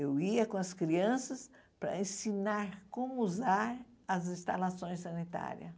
Eu ia com as crianças para ensinar como usar as instalações sanitárias.